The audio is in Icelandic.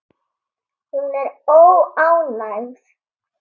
Hún er óánægð.